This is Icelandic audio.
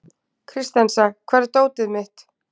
Kristensa, hvar er dótið mitt?